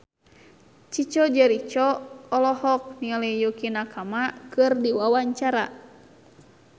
Chico Jericho olohok ningali Yukie Nakama keur diwawancara